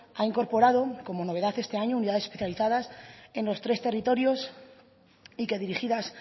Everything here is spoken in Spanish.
ha incorporado como novedad este año unidades especializadas en los tres territorios y que dirigidas